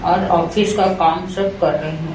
और ऑफिस का काम सब कर रहे हैं।